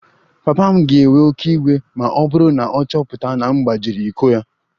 Papa m ga-ewe oké iwe ma ọ bụrụ na ọ chọpụta na m gbajiri iko ya